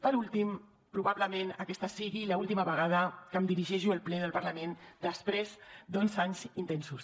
per últim probablement aquesta sigui l’última vegada que em dirigeixo al ple del parlament després d’onze anys intensos